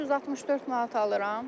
564 manat alıram.